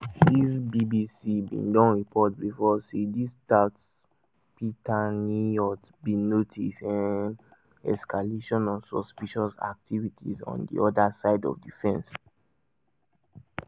di bbc bin don report bifor say di tatzpitaniyot bin notice um escalation of suspicious activity on di oda side of di fence.